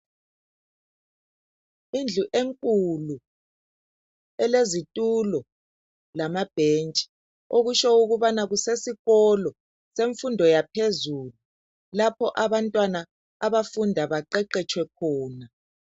Indlu enkulu elezitulo lama bentshi okutsho ukubana kusesikolo ysemfundo yaphezulu lapho abantwana abafunda baqeqetshwe khona .